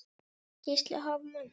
Gísli: Hvað mikla?